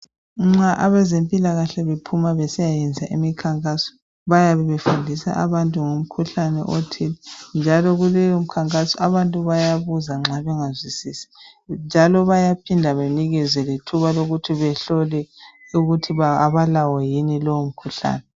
Nxa abezempilakahle bephuma besiyayenza imikhankaso bayabe befundisa abantu ngomkhuhlane othile njalo kuleyo mkhankhaso abantu bayabuza nxa bengazwisisi njalo bayaphinda banikezwe lethuba lokuthi bahlole ukuthi abalawo yini lowo mkhuhlane.